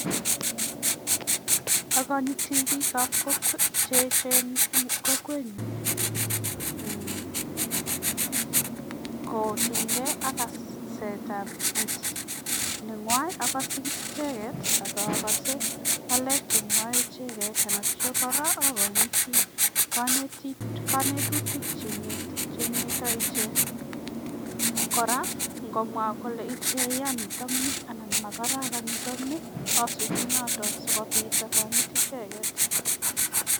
Akonyiti biik che echen eng kokwenyun kotinykei ak kasetab iit nengwai, akase iit icheket akakase ngalek che mwoe icheket akotyo kora akanyiti kanetutik che ineto ichek, kora komwa ichek kole ya nitokni anan makararani asupi notok sikopit akanyit icheket.